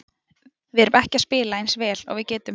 Við erum ekki að spila eins vel og við getum.